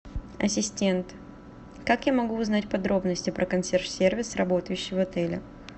ассистент как я могу узнать подробности про консьерж сервис работающий в отеле